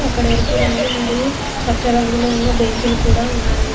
అక్కడ ఎరుపు రంగు మరియు పచ్చ రంగులో ఉన్న బెంచీలు కూడా ఉన్నాయి.